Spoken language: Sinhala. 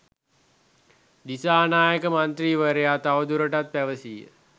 දිසානායක මන්ත්‍රීවරයා තවදුරටත් පැවසීය